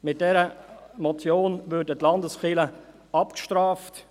Mit dieser Motion würden die Landeskirchen abgestraft.